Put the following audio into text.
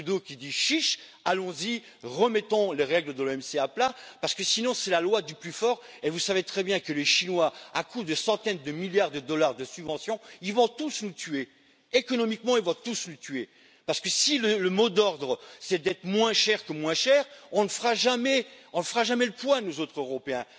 Trudeau, qui dit chiche, allons y, remettons les règles de l'OMC à plat parce que sinon c'est la loi du plus fort et vous savez très bien que les Chinois, à coups de centaines de milliards de dollars de subventions, vont tous nous tuer économiquement si le mot d'ordre c'est d'être moins cher que moins cher, on ne fera jamais le poids, nous autres Européens.